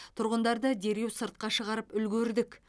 тұрғындарды дереу сыртқа шығарып үлгердік